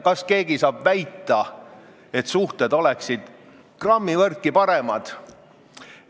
Kas keegi saab väita, et suhted oleksid nüüd grammivõrdki paremad?